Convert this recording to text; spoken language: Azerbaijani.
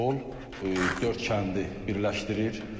Bu yol dörd kəndi birləşdirir.